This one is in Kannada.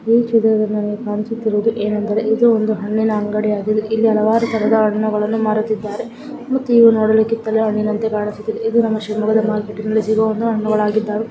ಈ ಚಿತ್ರದಲ್ಲಿ ನಮಗೆ ಕಾಣಿಸುತ್ತಿರುವುದು ಏನೆಂದರೆ ಇದು ಒಂದು ಹಣ್ಣಿನ ಅಂಗಡಿಯಾಗಿದೆ ಇಲ್ಲಿ ಹಲವಾರು ತರಹದ ಹಣ್ಣುಗಳನ್ನು ಮಾರುತ್ತಿದ್ದಾರೆ ಮತ್ತು ಇವು ನೋಡಲು ಕಿತ್ತಲೆ ಹಣ್ಣಿನಂತೆ ಕಾಣಿಸುತ್ತಿದೆ ಇದು ನಮ್ಮ ಶಿವಮೊಗ್ಗ ಮಾರ್ಕೆಟ್ ನಲ್ಲಿ ಸಿಗುವಂತಹ ಹಣ್ಣುಗಳಾಗಿದಾವೆ .